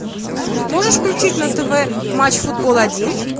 можешь включить на тв матч футбол один